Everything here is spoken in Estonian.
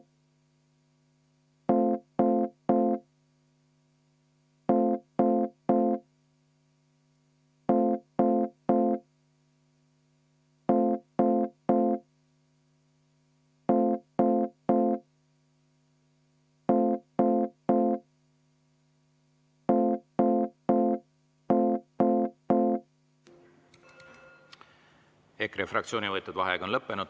EKRE fraktsiooni võetud vaheaeg on lõppenud.